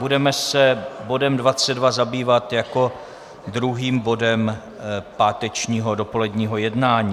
Budeme se bodem 22 zabývat jako druhým bodem pátečního dopoledního jednání.